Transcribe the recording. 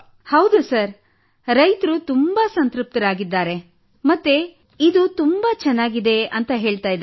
ಹೌದು ಸರ್ ರೈತರು ತುಂಬಾ ಸಂತೃಪ್ತರಾಗಿದ್ದಾರೆ ಮತ್ತು ಇದು ತುಂಬಾ ಚೆನ್ನಾಗಿದೆ ಎಂದು ಹೇಳುತ್ತಿದ್ದಾರೆ